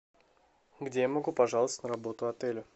где я могу пожаловаться на работу отеля